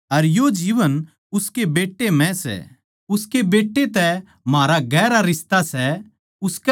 उसके बेट्टे तै म्हारा गहरा रिश्ता सै उसकै धोरै अनन्त जीवन सै अर जिसका परमेसवर के बेट्टे तै रिश्ता कोनी उसकै धोरै अनन्त जीवन भी कोनी